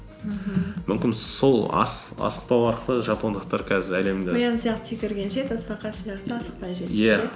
мхм мүмкін сол асықпау арқылы жапондықтар қазір әлемді қоян сияқты сияқты секіргенше тасбақа сияқты асықпай